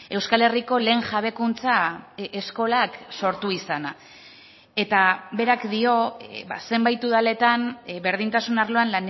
euskal herriko lehen jabekuntza eskolak sortu izana eta berak dio zenbait udaletan berdintasun arloan